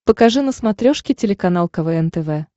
покажи на смотрешке телеканал квн тв